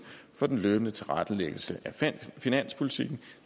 for den løbende tilrettelæggelse af finanspolitikken